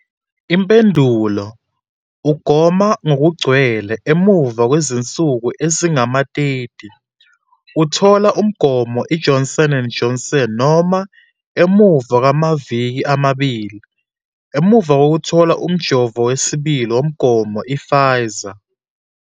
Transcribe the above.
Impendulo- Ugoma ngokugcwele emuva kwezinsuku ezingama-30 uthole umgomo iJohnson and Johnson noma emuva kwamaviki amabili emuva kokuthola umjovo wesibili womgomo i-Pfizer.